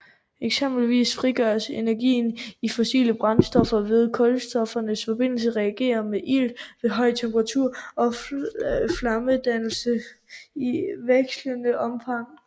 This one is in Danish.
Eksempelvis frigøres energien i fossile brændstoffer ved at kulstofforbindelser reagerer med ilt ved høj temperatur og flammedannelse i vekslende omfang